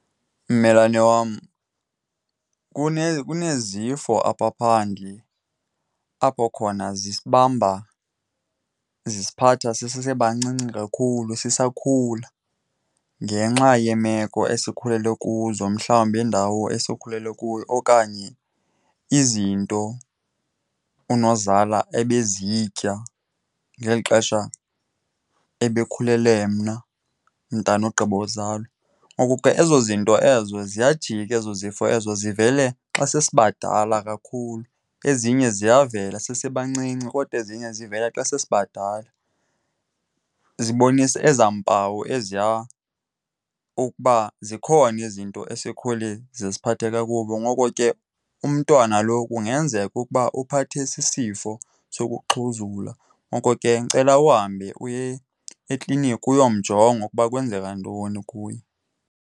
Mmelwane wam, kuneezifo apha phandle apho khona zisibamba, zisiphatha sisebancinci kakhulu sisakhula ngenxa yeemeko esikhulele kuzo. Mhlawumbi indawo esikhulele kuyo okanye izinto unozala ebezitya ngeli xesha ebekhulele mna mntana ogqiba uzalwa. Ngoku ke ezo zinto ezo ziyajika ezo zifo ezo zivele xa sesibadala kakhulu. Ezinye ziyavela sisebancinci kodwa eziye zivela xa sesibadala. Zibonisa ezaa mpawu eziya ukuba zikhona izinto esikhule zisiphathe kakubi, ngoko ke umntwana lo kungenzeka ukuba uphathwe sisifo sokuxhuzula. Ngoko ke ndicela uhambe uye ekliniki uyomjonga ukuba kwenzeka ntoni kuye.